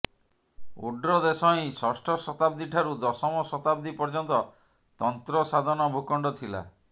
ଓଡ୍ରଦେଶ ହିଁ ଷଷ୍ଠ ଶତାବ୍ଦୀଠାରୁ ଦଶମ ଶତାବ୍ଦୀ ପର୍ଯ୍ୟନ୍ତ ତନ୍ତ୍ର ସାଧନଭୂଖଣ୍ଡ ଥିଲା